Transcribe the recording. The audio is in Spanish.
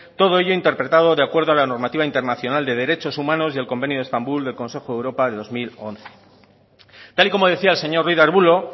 todo ello interpretado de acuerdo a la normativa internacional de derechos humanos y el convenio de estambul del consejo de europa de dos mil once tal y como decía el señor ruiz de arbulo